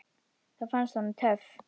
Það fannst honum töff.